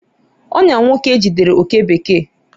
ọnyà nwoke jidere oke bekee